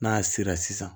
N'a sera sisan